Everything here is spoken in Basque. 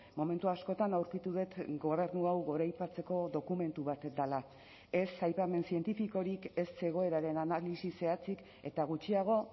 momentu askotan aurkitu dut gobernu hau goraipatzeko dokumentu bat dela ez aipamen zientifikorik ez egoeraren analisi zehatzik eta gutxiago